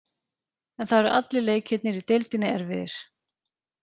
En það eru allir leikirnir í deildinni erfiðir.